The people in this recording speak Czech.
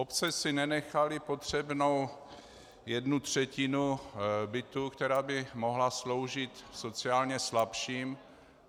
Obce si nenechaly potřebnou jednu třetinu bytů, která by mohla sloužit sociálně slabším.